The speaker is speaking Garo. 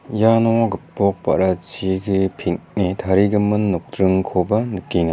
iano gipok ba·rachi peng·e tarigimin nokdringkoba nikenga.